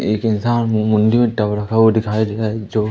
एक इंसान दिखाई दे रहा है जो--